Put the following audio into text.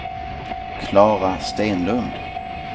Klara Stenlund